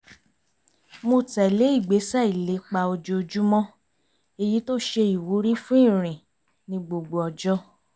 mo tẹ̀lé ìgbésẹ̀ ìlépa ojoojúmọ́ èyí tó ṣe ìwúrí fún ìrìn ní gbogbo ọjọ́